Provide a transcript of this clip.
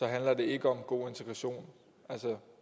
handler ikke om god integration altså